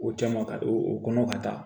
O caman ka o kɔnɔ ka taa